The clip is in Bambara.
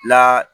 La